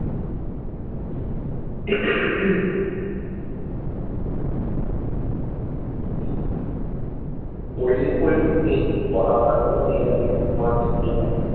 cold drinks ফোলড্রিনক্স খেয়েছি গলা বলা পুরো ইয়ে হয়ে গেছে টন্সিল ফুলে গেছে।